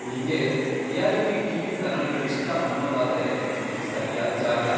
ನಿಂಗೆ reality TV. ಸರಣಿಗಳಿಷ್ಟ ಅನ್ನೊದಾದ್ರೆ ಇದು ಸರ್ಯಾದ್ ಜಾಗ.